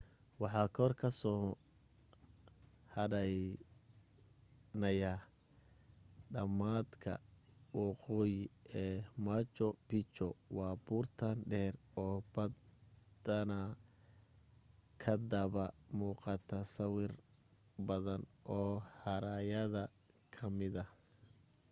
waxa kor ka soo hadhaynaya dhamaadka waqooyi ee machu picchu waa buurtan dheer oo badanaa kadaba muuqata sawir badan oo haraayada ka mida